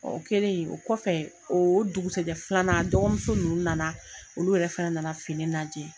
O kɛlen , o kɔfɛ, o dugusɛjɛ filanan, dɔgɔmuso ninnu nana, olu yɛrɛ fana nana fini lajɛ.